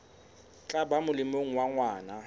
tla ba molemong wa ngwana